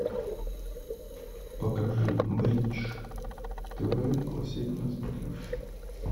покажи бридж тв классик на смотрешке